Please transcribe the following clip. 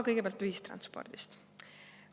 Kõigepealt ühistranspordist.